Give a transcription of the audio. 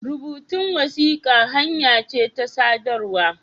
Rubutun wasiƙa hanya ce ta sadarwa.